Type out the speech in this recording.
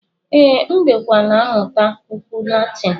Ee, M dịkwa na-amụta okwu Latin.